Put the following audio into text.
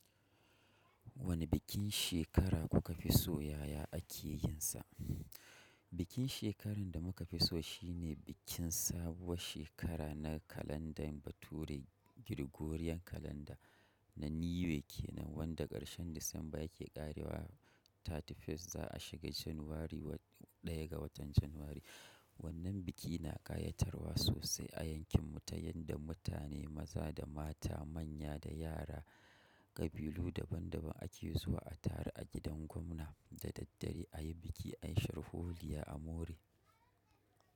Wane bikin shekara kuka fi so yaya ake yin sa? Bikin shekarar da muka fi so shine bikin sabuwar shekara na kalandar bature gregorian kalanda na new year kenan wanda karshen Disamba yake ƙarewa 31st za a shiga Janairu 1 ga watan Janairu. Wannan biki na kayatarwa sosai a yankin mu ta yanda mutane maza da mata manya da yara kabilu daban daban ake zuwa a taru a gidan gwamna da daddare ayi biki ayi sharholiya amore.